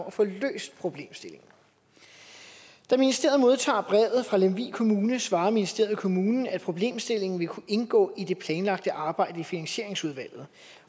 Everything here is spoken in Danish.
at få løst problemstillingen da ministeriet modtager brevet fra lemvig kommune svarer ministeriet kommunen at problemstillingen vil kunne indgå i det planlagte arbejde i finansieringsudvalget